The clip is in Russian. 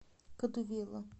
кадувела